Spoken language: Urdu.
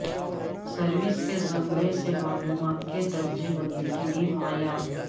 سروس کے زمرے سے معلومات کے درجہ بندی کے لئے معیار